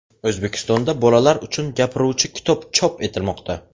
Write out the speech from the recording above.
O‘zbekistonda bolalar uchun gapiruvchi kitob chop etilmoqda.